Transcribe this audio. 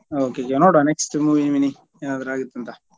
Okay ಈಗ ನೋಡ್ವ next movie ಮಿನಿ ಏನಾದ್ರು ಆಗುತ್ತಂತ.